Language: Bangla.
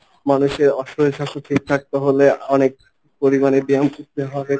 মানুষের অশরীর স্বাস্থ্য ঠিক থাকতে হলে অনেক পরিমানে ব্যায়াম করতে হবে।